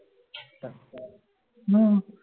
न